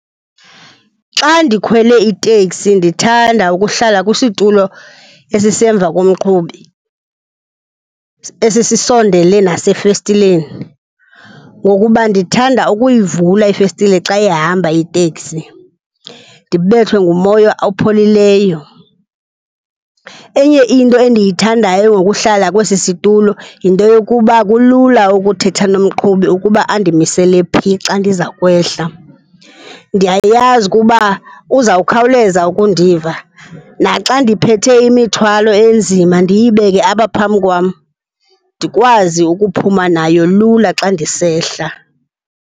Xa ndikhwele iteksi ndithanda ukuhlala kwisitulo esizemva komqhubi, esi sisondele nasefestileni ngoukuba ndithanda ukuyivula ifestile xa ihamba iteksi, ndibethwe ngumoya opholileyo. Enye into enditihandayo ngokuhlala kwesi situlo yinto yokuba kulula ukuthetha nomqhubi ukuba andimisele phi xa ndiza kwehla. Ndiyayazi kuba uza khawuleza ukundiva naxa ndiphethe imithwalo enzima ndiyibeke apha phambi kwam ndikwazi ukuphuma nayo lula xa ndisehla.